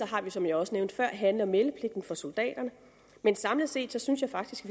har vi som jeg også nævnte før handle og meldepligten for soldaterne samlet set synes jeg faktisk